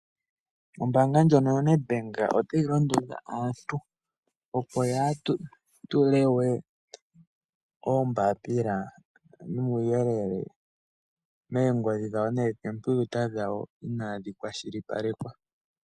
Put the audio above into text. Ombanga ndjono yoNed Bank otayi londodha aantu opo ya ha tulewe oombapila nuuyelele moongodhi noshowo moonkompiwuta dhawo inadhi kwashilipalekwa.